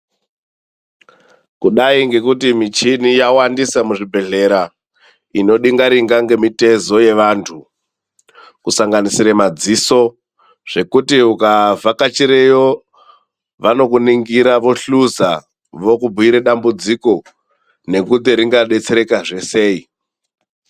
Kudai ngekuti michini yawandisa muzvibhedhlera inodinga- ringa nemitezo yevantu kusanginisira madziso zvekuti ukavhakachireyo vanokuningira vohluza vokubhuire dambudziko nekuti ringadetsereka zve sei.